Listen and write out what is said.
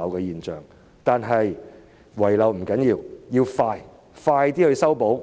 即使遺漏亦不要緊，只要盡快修補、